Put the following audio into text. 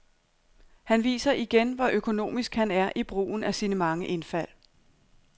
Han viser igen, hvor økonomisk han er i brugen af sine mange indfald.